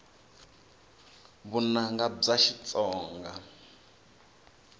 vunanga bya xitsonga